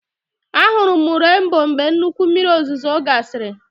A hụrụ m renboo mgbe nnukwu mmiri ozuzo gasịrị